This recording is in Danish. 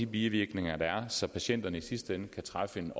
bivirkninger så patienterne i sidste ende kan træffe en